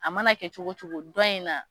A mana kɛ cogo cogo dɔ in na.